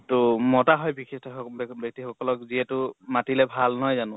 ত মতা হয় বিশিষ্ট ব্য়ক্তি সকলক যিহেতু মাতিলে ভাল নহয় জানো?